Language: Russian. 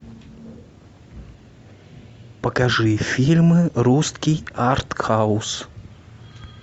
покажи фильмы русский артхаус